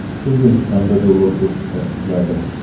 O‘zbekistonda dollar kursi pastladi.